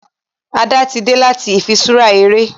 Ada tí dé láti ifiṣura eré